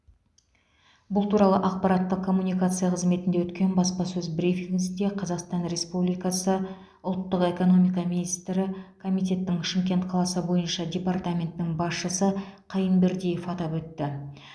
бұл туралы ақпараттық коммуникация қызметінде өткен баспасөз брифингісінде қазақстан республикасы ұлттық экономика министрі комитетінің шымкент қаласы бойынша департаментінің басшысы қайынбердиев атап өтті